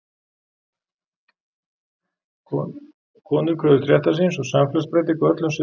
konur kröfðust réttar síns og samfélagsbreytinga á öllum sviðum